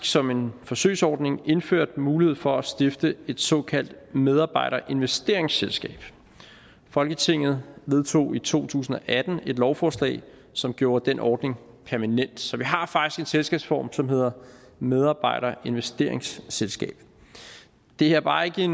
som en forsøgsordning indført mulighed for at stifte et såkaldt medarbejderinvesteringsselskab folketinget vedtog i to tusind og atten et lovforslag som gjorde den ordning permanent så vi har faktisk en selskabsform som hedder medarbejderinvesteringsselskab det er bare ikke